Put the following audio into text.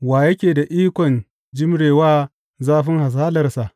Wa yake da ikon jimre wa zafin hasalarsa?